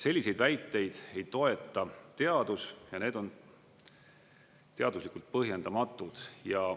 Selliseid väiteid ei toeta teadus ja need on teaduslikult põhjendamatud.